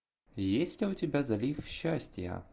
есть ли у тебя залив счастья